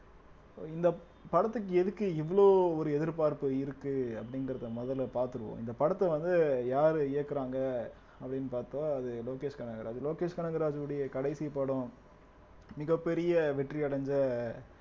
so இந்த படத்துக்கு எதுக்கு இவ்ளோ ஒரு எதிர்பார்ப்பு இருக்கு அப்டிங்கிறத மொதல்ல பாத்துருவோம் இந்த படத்த வந்து யாரு இயக்குறாங்க அப்டின்னு பாத்தா அது லோகேஷ் கனகராஜ் லோகேஷ் கனகராஜுடைய கடைசி படம் மிகப் பெரிய வெற்றி அடைஞ்ச